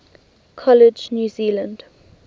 college new zealand